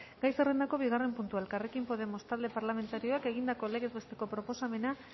gai zerrendako bigarren puntua elkarrekin podemos talde parlamentarioak egindako legez besteko proposamena